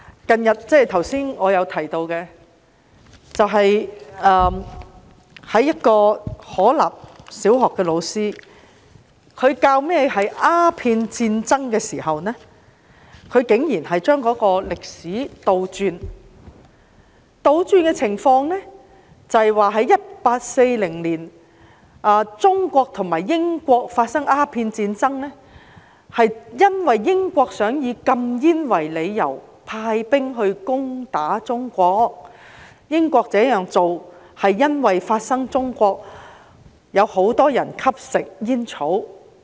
正如我剛才提及，可立小學一名教師在教授鴉片戰爭時，竟然將歷史倒轉來說，他指在1840年，中國和英國發生鴉片戰爭，是因為英國擬以禁煙為理由，派兵攻打中國，而英國這樣做，是因為中國有很多人吸食煙草。